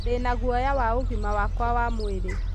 Ndĩna guoya wa ũgima wakwa wa mũĩrĩ